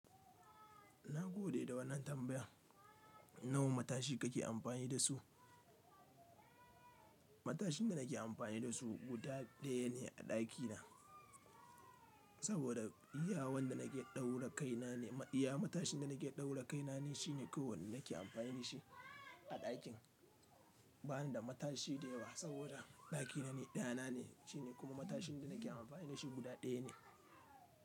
Na gode da wannan tambayan. Nawan matashi kake amfani da su? Matashin da nake amfani da su guda ɗaya ne a ɗakina, saboda iya wanda nake ɗaura kaina ne. Iya matashin da nake ɗaura kaina ne shine kowanne nake amfani da shi a ɗakin. Ba ni da matashi da yawa saboda ɗakina ne dayanane shine kuma matashin da nake amfani da shi guda ɗaya ne.